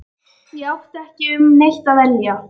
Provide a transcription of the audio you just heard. Ég átti ekki um neitt að velja.